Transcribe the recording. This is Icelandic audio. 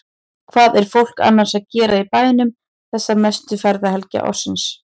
Hvað er fólk annars að gera í bænum þessa mestu ferðahelgi ársins?